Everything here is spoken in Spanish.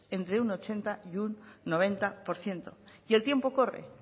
entre un ochenta y noventa por ciento y el tiempo corre